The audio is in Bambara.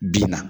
Bin na